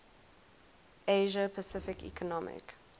asia pacific economic